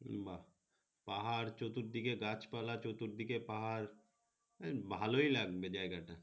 এই মা পাহাড় চতুর দিকে গাছপালা চতুর পাহাড় আহ ভালো লাগবে জায়গাটা।